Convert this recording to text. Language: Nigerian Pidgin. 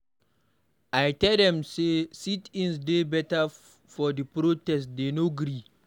I tell dem say sit-ins dey better for the protest dey no gree.